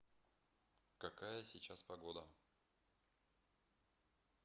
какая сейчас погода